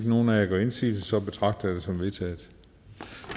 nogen af jer gør indsigelse betragter jeg det som vedtaget